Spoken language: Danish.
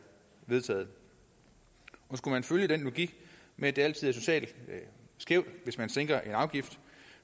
vedtaget skulle man følge den logik med at det altid er socialt skævt hvis man sænker en afgift